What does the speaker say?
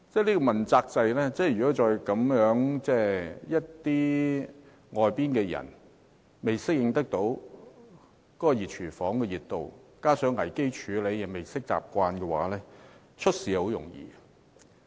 在問責制之下，外界人士如果未適應"熱廚房"的熱度，未習慣危機處理，便很容易出事。